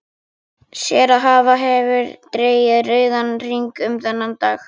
Sér að hann hefur dregið rauðan hring um þennan dag.